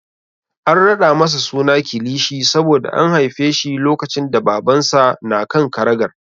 An raɗa masa suna Kilishi saboda an haife shi lokacin da Babansa na kan karagar.